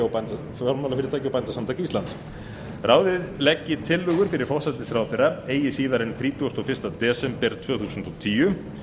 og bændasamtaka íslands ráðið leggi tillögur fyrir forsætisráðherra eigi síðar en þrítugasta og fyrsta desember tvö þúsund og tíu